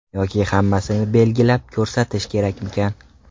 Yoki hammasini belgilab, ko‘rsatish kerakmikan?